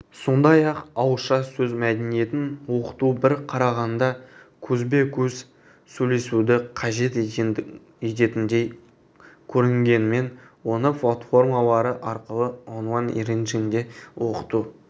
сондай-ақ ауызша сөз мәдениетін оқыту бір қарағанда көзбе-көз сөйлесуді қажет ететіндей көрінгенімен оны платформалары арқылы онлайн режимде оқыту